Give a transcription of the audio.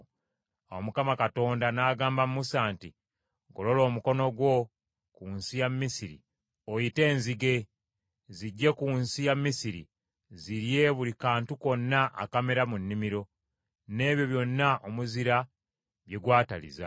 Awo Mukama Katonda n’agamba Musa nti, “Golola omukono gwo ku nsi ya Misiri oyite enzige, zijje ku nsi ya Misiri, zirye buli kantu konna akamera mu nnimiro, n’ebyo byonna omuzira bye gwataliza.”